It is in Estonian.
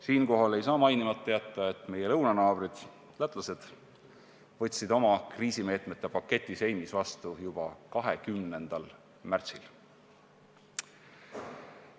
Siinkohal ei saa mainimata jätta, et meie lõunanaabrid lätlased võtsid oma kriisimeetmete paketi Seimis vastu juba 20. märtsil.